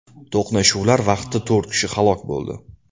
To‘qnashuvlar vaqtida to‘rt kishi halok bo‘ldi .